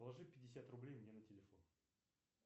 положи пятьдесят рублей мне на телефон